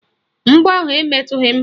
Mgbọ ahụ emetughi m